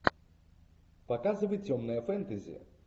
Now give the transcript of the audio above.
показывай темное фэнтези